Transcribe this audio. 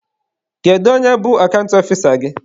Kedu onye bụ akant ọfisa gị?